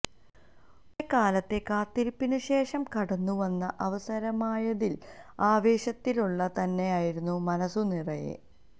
കുറെ കാലത്തെ കാത്തിരിപ്പിന് ശേഷം കടന്നുവന്ന അവസരമായതിനാല് ആവേശത്തിരത്തള്ളല് തന്നെയായിരുന്നു മനസു നിറയെ